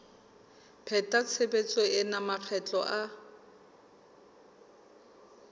pheta tshebetso ena makgetlo a